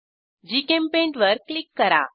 GChemPaint वर click करा